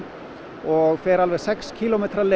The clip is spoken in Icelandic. og fer alveg sex kílómetra leið